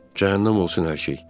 Cəhənnəm olsun hər şey.